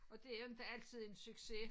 Og det jo inte altid en success